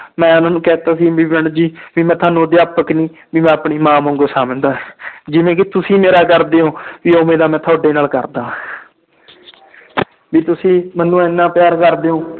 ਮੈਂ ਉਹਨਾਂ ਨੂੰ ਕਹਿ ਦਿੱਤਾ ਸੀ ਵੀ madam ਜੀ ਵੀ ਮੈਂ ਤੁਹਾਨੂੰ ਅਧਿਆਪਕ ਨੀ ਵੀ ਮੈਂ ਆਪਣੀ ਮਾਂ ਵਾਂਗੂ ਸਮਝਦਾ ਹੈ ਜਿਵੇਂ ਕਿ ਤੁਸੀਂ ਮੇਰਾ ਕਰਦੇ ਹੋ ਵੀ ਉਵੇਂ ਦਾ ਮੈਂ ਤੁਹਾਡੇ ਨਾਲ ਕਰਦਾ ਵੀ ਤੁਸੀਂ ਮੈਨੂੰ ਇੰਨਾ ਪਿਆਰ ਕਰਦੇ ਹੋ